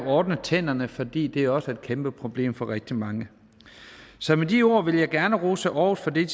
ordnet tænderne fordi det også er et kæmpeproblem for rigtig mange så med de ord vil jeg gerne rose aarhus for det